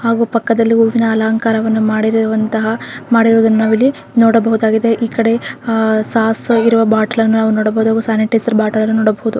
ಹಾಗು ಪಕ್ಕದಲ್ಲಿ ಹೂವಿನ ಅಲಂಕಾರವನ್ನು ಮಾಡಿರುವಂತಹ ಮಾಡಿರುವುದನ್ನು ನಾವಿಲ್ಲಿ ನೋಡಬಹುದಾಗಿದೆ ಈ ಕಡೆ ಆಹ್ಹ್ ಸಾಸ್ ಹಾಕಿರುವ ಬಾಟಲನ್ನು ನಾವು ನೋಡಬಹುದು ಹಾಗು ಸ್ಯಾನಿಟೈಸರ್ ಬಾಟಲನ್ನು ನೋಡಬಹುದು.